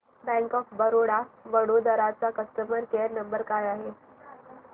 bank of Baroda Vadodara चा customer care number काय आहे